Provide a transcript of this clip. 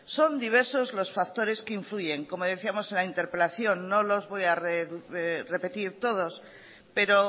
son diversos los factores que influyen como decíamos en la interpelación no los voy a repetir todos pero